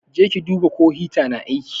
Je ki duba ko hita na aiki.